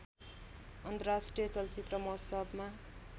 अन्तर्राष्ट्रिय चलचित्र महोत्सवमा